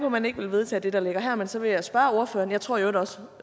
at man ikke vil vedtage det der ligger her men så vil jeg spørge ordføreren jeg tror i øvrigt også